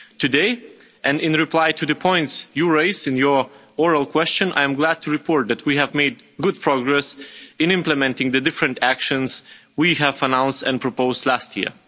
Today, and in reply to the points you raised in your oral questions, I am glad to report that we have made good progress in implementing the different actions we announced and proposed last year.